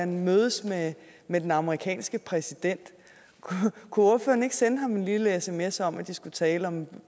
mødes med den amerikanske præsident kunne ordføreren ikke sende ham en lille sms om at de skulle tale om